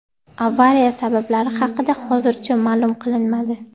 Avariya sabablari haqida hozircha ma’lum qilinmadi.